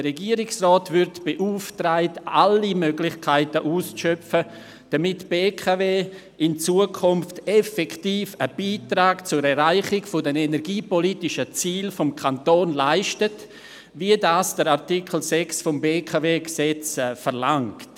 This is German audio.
Der Regierungsrat wird beauftragt, alle Möglichkeiten auszuschöpfen, damit die BKW in Zukunft effektiv einen Beitrag zur Erreichung der energiepolitischen Ziele des Kantons leistet, wie das Artikel 6 des Gesetzes über die Beteiligung des Kantons an der BKW AG (BKW-Gesetz, BKWG) verlangt.